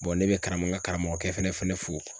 ne bɛ karamɔgɔ n karamɔgɔkɛ fana fo.